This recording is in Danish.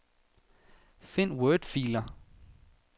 Find wordfiler.